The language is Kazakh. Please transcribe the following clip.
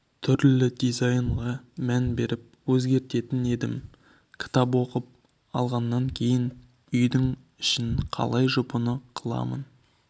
түрлі дизайнға мән беріп өзгертетін едім кітап оқып алғаннан кейін үйдің үшін қалай жұпыны қыламын